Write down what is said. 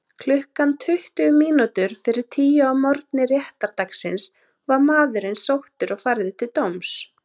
Klukkan tuttugu mínútur fyrir tíu að morgni réttardagsins var maðurinn sóttur og færður til dóms.